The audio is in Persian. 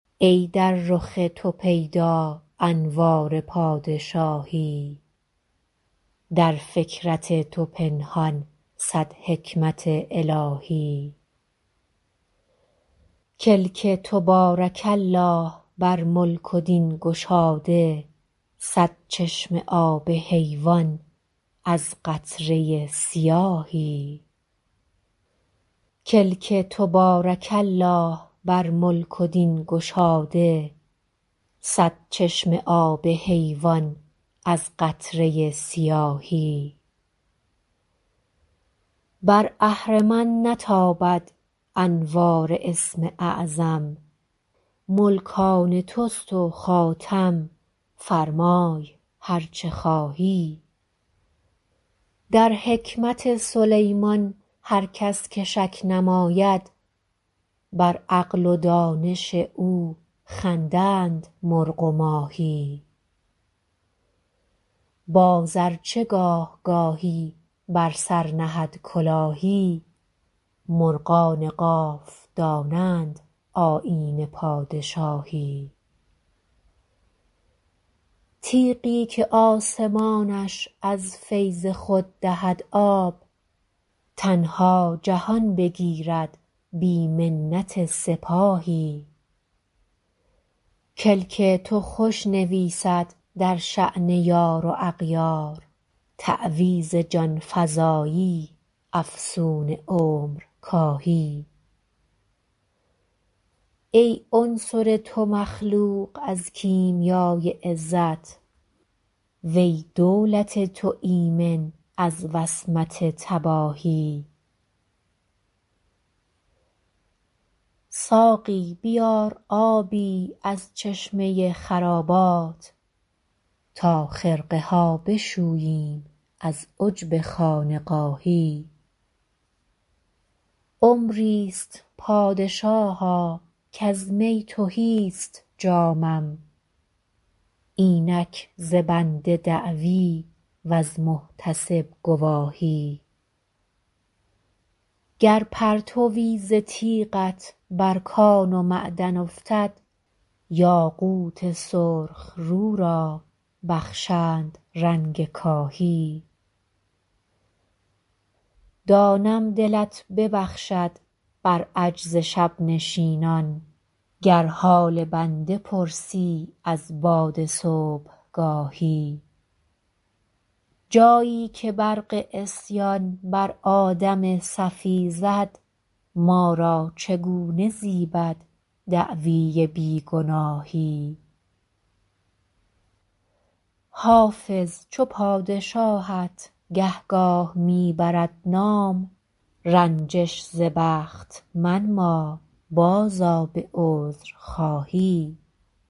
ای در رخ تو پیدا انوار پادشاهی در فکرت تو پنهان صد حکمت الهی کلک تو بارک الله بر ملک و دین گشاده صد چشمه آب حیوان از قطره سیاهی بر اهرمن نتابد انوار اسم اعظم ملک آن توست و خاتم فرمای هر چه خواهی در حکمت سلیمان هر کس که شک نماید بر عقل و دانش او خندند مرغ و ماهی باز ار چه گاه گاهی بر سر نهد کلاهی مرغان قاف دانند آیین پادشاهی تیغی که آسمانش از فیض خود دهد آب تنها جهان بگیرد بی منت سپاهی کلک تو خوش نویسد در شأن یار و اغیار تعویذ جان فزایی افسون عمرکاهی ای عنصر تو مخلوق از کیمیای عزت و ای دولت تو ایمن از وصمت تباهی ساقی بیار آبی از چشمه خرابات تا خرقه ها بشوییم از عجب خانقاهی عمری ست پادشاها کز می تهی ست جامم اینک ز بنده دعوی وز محتسب گواهی گر پرتوی ز تیغت بر کان و معدن افتد یاقوت سرخ رو را بخشند رنگ کاهی دانم دلت ببخشد بر عجز شب نشینان گر حال بنده پرسی از باد صبحگاهی جایی که برق عصیان بر آدم صفی زد ما را چگونه زیبد دعوی بی گناهی حافظ چو پادشاهت گهگاه می برد نام رنجش ز بخت منما بازآ به عذرخواهی